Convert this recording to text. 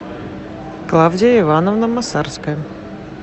клавдия ивановна масарская